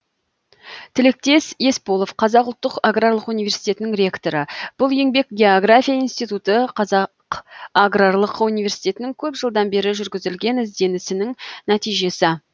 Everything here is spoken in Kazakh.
тілектес есполов қазақ ұлттық аграрлық университетінің ректоры бұл еңбек география институты қазақ аграрлық университетінің көп жылдан бері жүргізілген ізденісінің нәтижесі